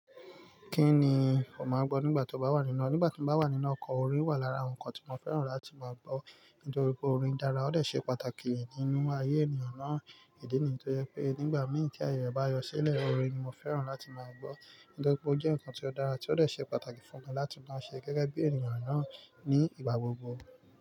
Kí ni o máa gbọ́ nígbà tí o bá wà nínú ọkọ̀? Orin wà lára nǹkan tí mo fẹ́ràn láti máa gbọ́, nítorí pé orin dára óò ṣe pàtàkì nínú ayé ènìyàn náà. Ìdí nìyẹn tó yẹ pé nígbà mìíràn tí ayọ̀ bá yọ sílẹ̀, orin ni mo fẹ́ràn láti máa gbọ́. Nítorí pé ó jẹ́ nǹkan tí ó dára tí ó ṣe pàtàkì fún mi láti máa ṣe gẹ́gẹ́ bí ènìyàn náà ní ìgbà gbogbo.